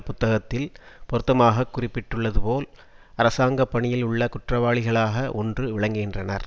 புத்தகத்தில் பொருத்தமாக குறிப்பிட்டுள்ளதுபோல் அரசாங்க பணியில் உள்ள குற்றவாளிகளாகஒன்று விளங்குகின்றனர்